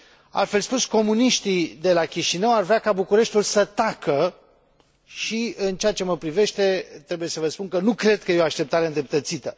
Altfel spus, comuniștii de la Chișinău ar vrea ca Bucureștiul să tacă și, în ceea ce mă privește, trebuie să vă spun că nu cred că e o așteptare îndreptățită.